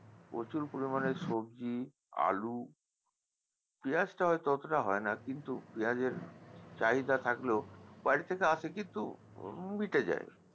প্রচুর পরিমাণে সবজি আলু পেঁয়াজটা হয়তো অতটা হয়না কিন্তু পেঁয়াজের চাহিদা থাকলেও বাইরে থেকে আসে কিন্তু মিটে যায়